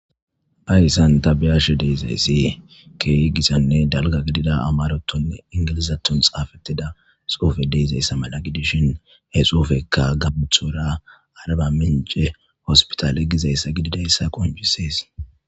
ayssan tabiyashe deezayssee keey gisanne dalga gidida amarotonne ingilizatton xaafettida soufe deezayssa mala gidishin he xofekka gabuthora araba mince hospitale gizayssa gididayssa qoncisees